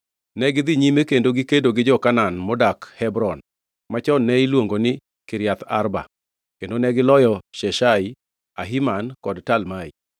Negidhi nyime kendo gikedo gi jo-Kanaan modak Hebron (machon ne iluongo ni Kiriath Arba) kendo negiloyo Sheshai, Ahiman kod Talmai.